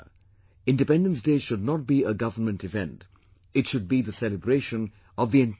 Independence Day should not be a government event, it should be the celebration of the entire people